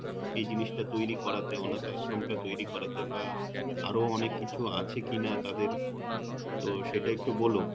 এই জিনিস টা তৈরি করা তে অনাথ আশ্রম টা তৈরি করাতে বা আরো অনেক কিছু আছে কিনা তাদের তো সেটা একটু বোলো।